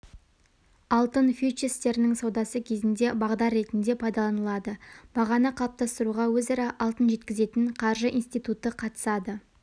алтын фьючерстерінің саудасы кезінде бағдар ретінде пайдаланылады бағаны қалыптастыруға өзара алтын жеткізетін қаржы институты қатысады